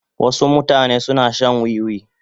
Wasu mutane suna shan wiwi.